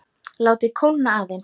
Látið kólna aðeins.